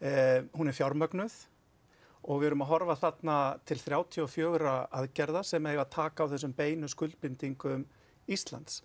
hún er fjármögnuð og við erum að horfa þarna til þrjátíu og fjögur aðgerða sem eiga að taka á þessum beinu skuldbindingu Íslands